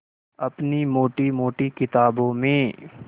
अपनी मोटी मोटी किताबों में